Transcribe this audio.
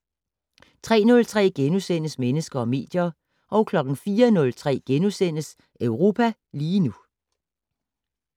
03:03: Mennesker og medier * 04:03: Europa lige nu *